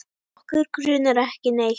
Okkur grunar ekki neitt.